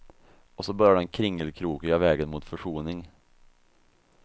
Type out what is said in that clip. Och så börjar den kringelkrokiga vägen mot försoning.